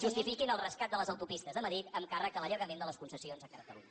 justifiquin el rescat de les autopistes de madrid amb càrrec a l’allargament de les concessions a catalunya